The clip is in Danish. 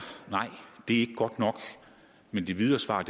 ikke godt nok men det videre svar